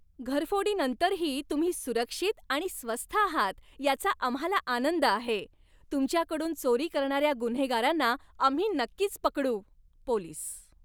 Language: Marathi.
घरफोडीनंतरही तुम्ही सुरक्षित आणि स्वस्थ आहात याचा आम्हाला आनंद आहे. तुमच्याकडून चोरी करणाऱ्या गुन्हेगारांना आम्ही नक्कीच पकडू. पोलीस